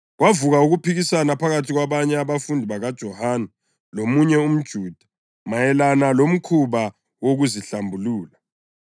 Kwavuka ukuphikisana phakathi kwabanye abafundi bakaJohane lomunye umJuda mayelana lomkhuba wokuzihlambulula.